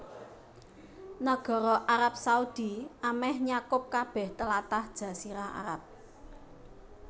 Nagara Arab Saudi amèh nyakup kabèh tlatah Jazirah Arab